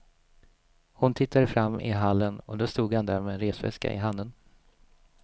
Hon tittade fram i hallen och då stod han där med en resväska i handen.